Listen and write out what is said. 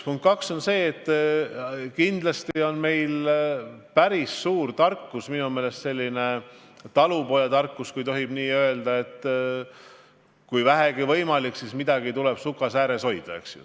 Punkt kaks on see, et kindlasti teab meie rahvas suurt tarkust – minu meelest on see talupojatarkus –, et kui vähegi võimalik, siis midagi tuleb sukasääres hoida, eks ju.